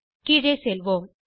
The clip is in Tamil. கீழே செல்வோம்